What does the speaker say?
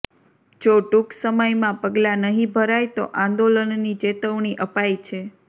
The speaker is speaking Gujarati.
જો ટૂંક સમયમાં પગલાં નહીં ભરાય તો આંદોલનની ચેતવણી અપાઈ છે